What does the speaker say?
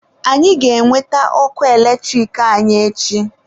Anyị ga-enweta ọkụ eletrik anyị echi.